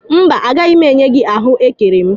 Mba, agaghị m enye gị ahụekere m